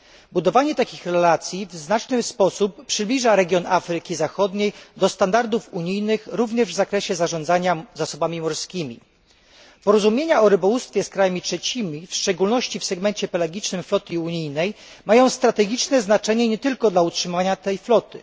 Budowanie takich relacji w znacznym stopniu przybliża region Afryki Zachodniej do standardów unijnych, również w zakresie zarządzania zasobami morskimi. Porozumienia o rybołówstwie z krajami trzecimi, szczególnie w segmencie pelagicznym floty unijnej, mają strategiczne znaczenie nie tylko dla utrzymania tej floty.